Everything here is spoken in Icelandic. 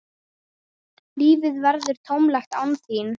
Lífið verður tómlegt án þín.